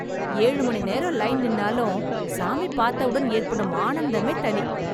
ஏழு மணி நேரம் லைன் நின்னாலும் சாமி பார்த்தவுடன் ஏற்படும் ஆனந்தமே தனி.